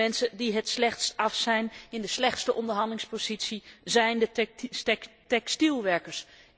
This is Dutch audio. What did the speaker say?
De mensen die het slechtst af zijn, in de slechtste onderhandelingspositie verkeren, zijn de textielwerkers.